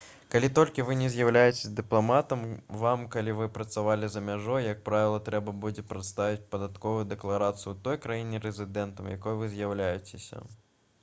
калі толькі вы не з'яўляецеся дыпламатам вам калі вы працавалі за мяжой як правіла трэба будзе прадставіць падатковую дэкларацыю ў той краіне рэзідэнтам якой вы з'яўляецеся